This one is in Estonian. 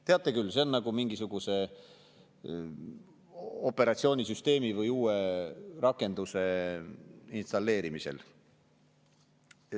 Teate küll, see on nagu mingisuguse operatsioonisüsteemi või uue rakenduse installeerimisel.